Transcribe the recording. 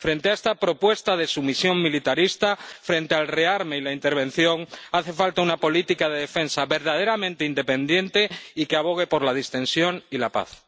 Frente a esta propuesta de sumisión militarista, frente al rearme y la intervención, hace falta una política de defensa verdaderamente independiente y que abogue por la distensión y la paz.